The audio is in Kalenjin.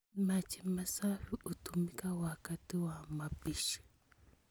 Maji masafi hutumika wakati wa mapishi